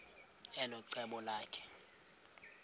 elo cebo lakhe